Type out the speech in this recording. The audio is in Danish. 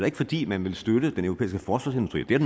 ikke fordi man vil støtte den europæiske forsvarsindustri det er